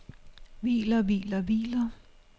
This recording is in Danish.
hviler hviler hviler